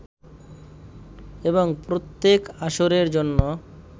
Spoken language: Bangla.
এবং প্রত্যেক আসরের জন্য